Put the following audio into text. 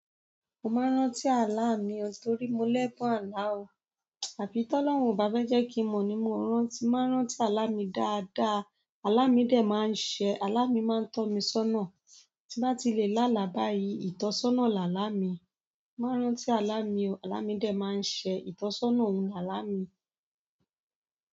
Mo máa ń rántí alámì o torí mo lẹ́bùn àlá o. Àfi Tọ́lọ́hun ò bá fẹ́ jẹ̀ kí n mo ní mo rántí, máa ń rántí alámì dáadáa. Alámì dè máa ń ṣẹ. Ala mi ma n tọ mi sọna tí n bá ti lè lá alà báyìí, ìtọ́sọ́nà làálàmi. Ma n rántí alámì o. Ala mi dẹ̀ maa n ṣẹ, ìtọ́sọ́nà ni ala mi.